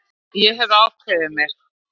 Ég hef ákveðið mig.